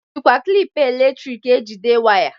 E jikwa klịp eletik ejide waya.